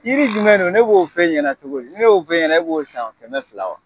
Yiri jumɛn de dɔn, ne b'o f'e ɲɛna cogo di ! Ni ne y'o f'e ɲɛna e b'o san kɛmɛ fila wa!